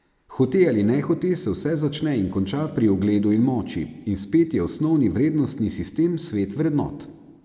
Hote ali nehote se vse začne in konča pri ugledu in moči, in spet je osnovni vrednostni sistem svet vrednot.